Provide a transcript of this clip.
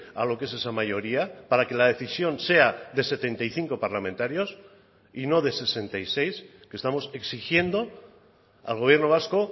a lo que es esa mayoría para que la decisión sea de setenta y cinco parlamentarios y no de sesenta y seis que estamos exigiendo al gobierno vasco